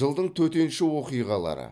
жылдың төтенше оқиғалары